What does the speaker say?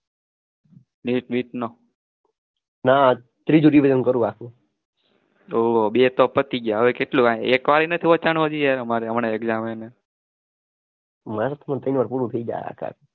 ના ત્રીજું revision કરું આ